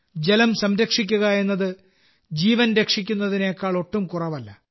ജലം സംരക്ഷിക്കുക എന്നത് ജീവൻ രക്ഷിക്കുന്നതിനേക്കാൾ ഒട്ടും കുറവല്ല